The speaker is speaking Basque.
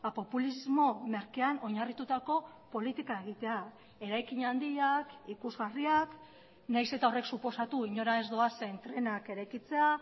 populismo merkean oinarritutako politika egitea eraikin handiak ikusgarriak nahiz eta horrek suposatu inora ez doazen trenak eraikitzea